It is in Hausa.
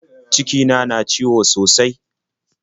Cikina na ciwo sosai.